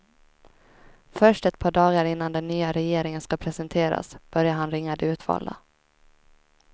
Först ett par dagar innan den nya regeringen ska presenteras börjar han ringa de utvalda.